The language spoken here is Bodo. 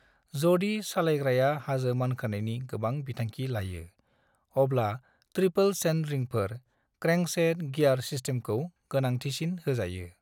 जदि सालायग्राया हाजो मानखोनायनि गोबां बिथांखि लायो, अब्ला ट्रिपल-चेन रिंफोर क्रेंकसेट गियार सिस्टेमखौ गोनांथिसिन होजायो।